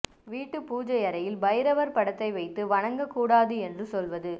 வீட்டுப் பூஜையறையில் பைரவர் படத்தை வைத்து வணங்கக் கூடாது என்று சொல்வது